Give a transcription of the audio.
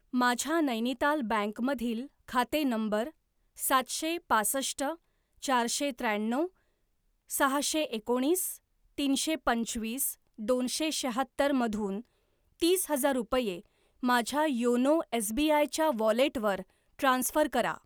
माझ्या नैनिताल बँक मधील खाते नंबर सातशे पासष्ट चारशे त्र्याण्णव सहाशे एकोणीस तीनशे पंचवीस दोनशे शहात्तरमधून तीस हजार रुपये माझ्या योनो एसबीआय च्या वॉलेटवर ट्रान्स्फर करा.